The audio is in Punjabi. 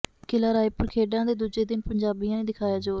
ਕਿਲ੍ਹਾ ਰਾਏਪੁਰ ਖੇਡਾਂ ਦੇ ਦੂਜੇ ਦਿਨ ਪੰਜਾਬੀਆਂ ਨੇ ਦਿਖਾਇਆ ਜ਼ੋਰ